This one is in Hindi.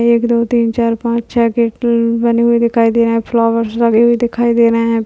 एक दो तीन चार पचा छह गेट उम्म बने हुए दिखाई दे रहे है फ्लावर्स लगे हुए दिखाई दे रहे है।